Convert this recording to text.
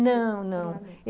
Não, não. Ficou lá mesmo.